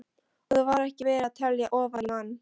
Og þar var ekki verið að telja ofan í mann.